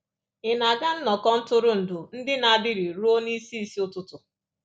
Ị̀ na-aga nnọkọ ntụrụndụ ndị na-adịrị ruo n'isi isi ụtụtụ?